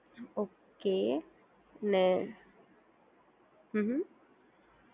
okay અને હમ્મ હમ્મ